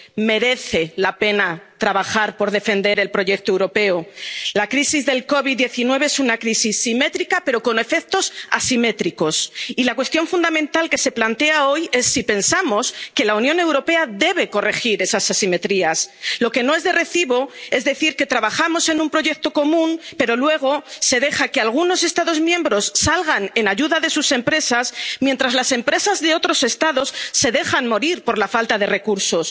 convulso merece la pena trabajar por defender el proyecto europeo. La crisis de la COVID 19 es una crisis simétrica pero con efectos asimétricos. Y la cuestión fundamental que se plantea hoy es si pensamos que la Unión Europea debe corregir esas asimetrías. Lo que no es de recibo es decir que trabajamos en un proyecto común, pero luego se deja que algunos Estados miembros salgan en ayuda de sus empresas, mientras las empresas de otros Estados se dejan morir por la falta de